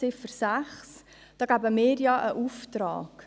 Mit der Ziffer 6 erteilen wir einen Auftrag.